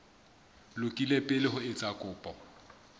lokile pele o etsa kopo